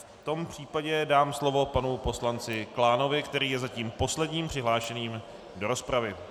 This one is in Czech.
V tom případě dám slovo panu poslanci Klánovi, který je zatím posledním přihlášeným do rozpravy.